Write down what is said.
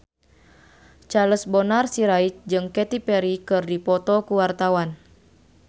Charles Bonar Sirait jeung Katy Perry keur dipoto ku wartawan